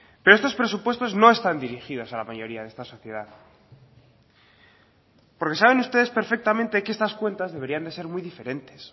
pero estos presupuestos no están dirigidos a la mayoría de esta sociedad porque saben ustedes perfectamente que estas cuentas deberían de ser muy diferentes